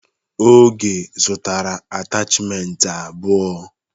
Oge zụtara atachimentị abụọ.